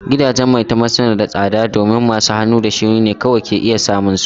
Gidajen maitama suna da tsada domin masu hannu da shuni ne kawai ke iya samun su.